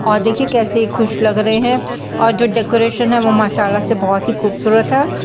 और देखिए कैसे खुश लग रहे है और जो डेकोरेशन है वो मासाअल्लाह से बहुत ही खुबसूरत है।